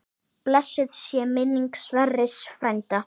Blessuð sé minning Sverris frænda.